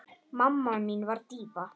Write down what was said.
Mamma mín var díva.